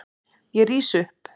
Ég rís upp.